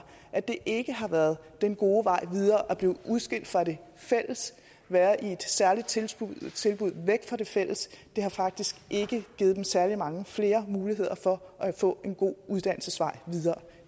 at det ikke har været den gode vej videre at blive udskilt fra det fælles være i et særligt tilbud væk fra det fælles det har faktisk ikke givet dem særlig mange flere muligheder for at få en god uddannelsesvej videre